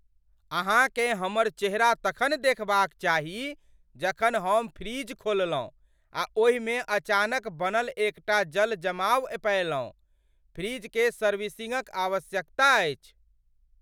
अहाँकेँ हमर चेहरा तखन देखबाक चाही जखन हम फ्रीजर खोललहुँ आ ओहिमे अचानक बनल एकटा जल जमाव पएलहुँ। फ्रिजकेँ सर्विसिंगक आवश्यकता अछि।